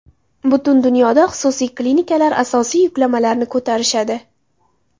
Butun dunyoda xususiy klinikalar asosiy yuklamalarni ko‘tarishadi.